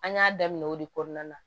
An y'a daminɛ o de kɔnɔna na